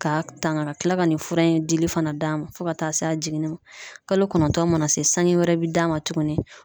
Ka tanga ka kila ka nin fura in dili fana d'a ma ,fo ka taa se a jiginni ma kalo kɔnɔntɔn mana se sange wɛrɛ be d'a ma tukuni.